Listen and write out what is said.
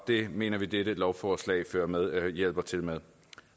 det mener vi at dette lovforslag hjælper til med